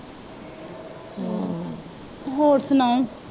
ਹੋਰ ਸੁਣਾਉ